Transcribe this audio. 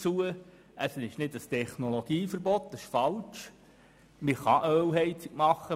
Es handelt sich nicht um ein Technologieverbot, das ist falsch.